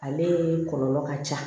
Ale kɔlɔlɔ ka ca